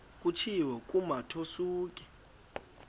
kutshiwo kumotu osuke